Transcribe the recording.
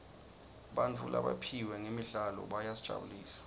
bantfu labaphiwe ngemidlalo bayasijabulisa